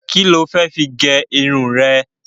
Kíni o fẹ́ fi gẹ irun rẹ?